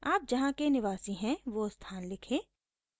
आप जहाँ के निवासी हैं वो स्थान लिखें